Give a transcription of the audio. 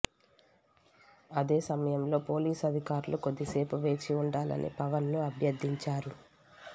అదే సమయంలో పోలీసు అధికారులు కొద్ది సేపు వేచి ఉండాలని పవన్ ను అభ్యర్ధించారు